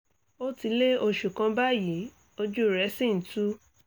ó ti lé oṣù kan báyìí ojú rẹ̀ sì ń tú